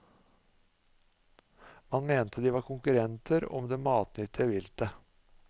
Man mente de var konkurrenter om det matnyttige viltet.